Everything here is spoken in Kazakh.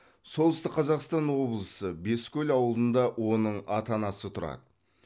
солтүстік қазақстан облысы бескөл ауылында оның ата анасы тұрады